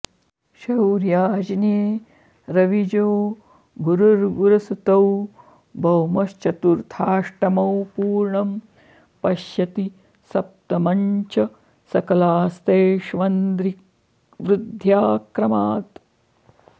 शौर्याज्ञे रविजो गुरुर्गुरुसुतौ भौमश्चतुर्थाश्टमौ पुर्णं पश्यति सप्तमं च सकलास्तेष्वंध्रिवृद्ध्या क्रमात्